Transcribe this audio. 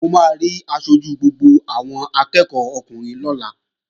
Mo máa rí aṣojú gbogbo àwọn akẹ́ẹ̀kọ́ ọkùnrin lọ́la